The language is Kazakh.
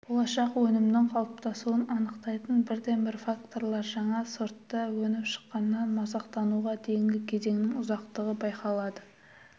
болашақ өнімнің қалыптасуын анықтайтын бірден бір факторлар жаңа сортта өніп шыққаннан масақтануға дейінгі кезеңнің ұзақтығы байқалады